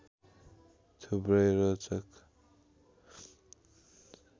थुप्रै रोचक